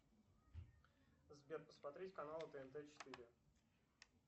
сбер посмотреть канал тнт четыре